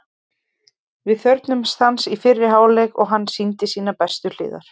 Við þörfnuðumst hans í fyrri hálfleik og hann sýndi sínar bestu hliðar.